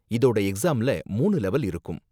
இதோட எக்ஸாம்ல மூணு லெவல் இருக்கும்.